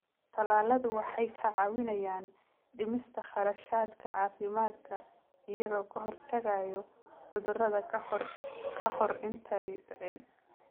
Tallaaladu waxay kaa caawinayaan dhimista kharashaadka caafimaadka iyagoo ka hortagaya cudurrada ka hor intaanay dhicin.